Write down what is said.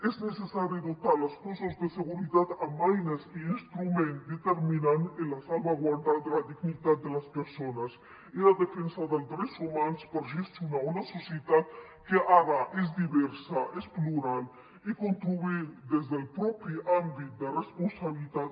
és necessari dotar els cossos de seguretat amb eines i instruments determinants per a la salvaguarda de la dignitat de les persones i la defensa dels drets humans per gestionar una societat que ara és diversa és plural i construir des del propi àmbit de responsabilitat